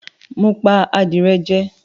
Mo pa adìrẹ jẹ